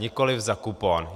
Nikoliv za kupon.